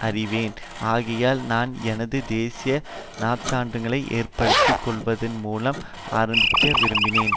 அறிவேன் ஆகையால் நான் எனது தேசிய நற்சான்றுகளை ஏற்படுத்தி கொள்வதன்மூலம் ஆரம்பிக்க விரும்பினேன்